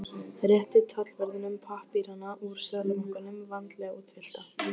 Rétti tollverðinum pappírana úr Seðlabankanum, vandlega útfyllta.